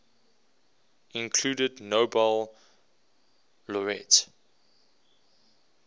included nobel laureate